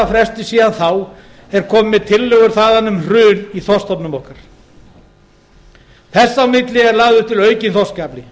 fresti síðan þá er komið með tillögur þaðan um hrun í þorskstofnum okkar þess á milli er lagður til aukinn þorskafli